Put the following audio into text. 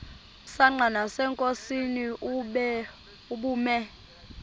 msanqa nasenkosini ubume